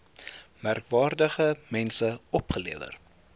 merkwaardige mense opgelewer